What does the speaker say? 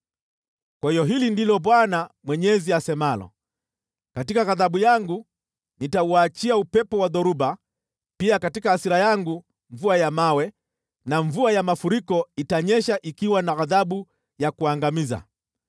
“ ‘Kwa hiyo hili ndilo Bwana Mwenyezi asemalo: Katika ghadhabu yangu nitauachia upepo wa dhoruba, pia katika hasira yangu mvua ya mawe na mvua ya mafuriko itanyesha ikiwa na ghadhabu ya kuangamiza.